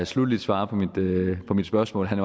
sluttelig svarede på mit spørgsmål at